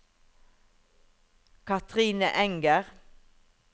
Kathrine Enger